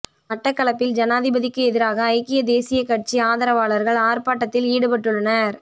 மட்டக்களப்பில் ஜனாதிபதிக்கு எதிராக ஐக்கிய தேசிய கட்சி ஆதரவாளர்கள் ஆர்ப்பாட்டத்தில் ஈடுபட்டுள்ளனர்